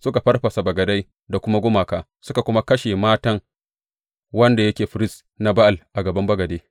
Suka farfasa bagadai da kuma gumaka, suka kuma kashe Mattan wanda yake firist na Ba’al a gaban bagade.